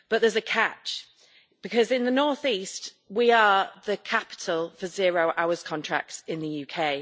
But there's a catch, because, in the North East, we are the capital for zero hours contracts in the UK.